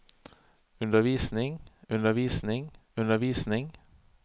undervisning undervisning undervisning